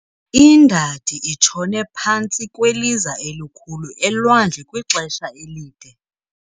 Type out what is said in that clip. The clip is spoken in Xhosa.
Indadi itshone phantsi kweliza elikhulu elwandle kwixesha elide.